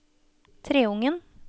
Treungen